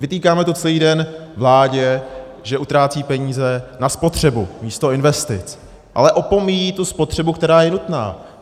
Vytýkáme to celý den vládě, že utrácí peníze na spotřebu místo investic, ale opomíjí tu spotřebu, která je nutná.